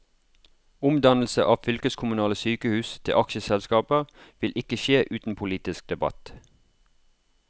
Omdannelse av fylkeskommunale sykehus til aksjeselskaper vil ikke skje uten politisk debatt.